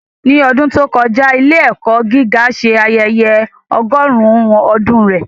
Ní ọdún tó kọjá, ilé-ẹ̀kọ́ gíga ṣe ayẹyẹ ọgọ́rùn-ún ọdún rẹ̀.